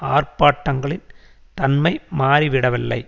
ஆர்ப்பாட்டங்களின் தன்மை மாறிவிடவில்லை